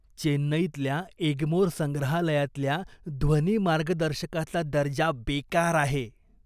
चेन्नईतल्या एग्मोर संग्रहालयातल्या ध्वनी मार्गदर्शकाचा दर्जा बेकार आहे.